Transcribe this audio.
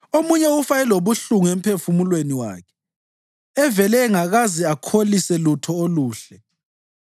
Omunye ufa elobuhlungu emphefumulweni wakhe, evele engakaze akholise lutho oluhle.